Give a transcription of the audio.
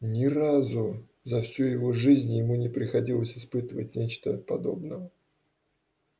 ни разу за всю его жизнь ему не приходилось испытывать нечто подобного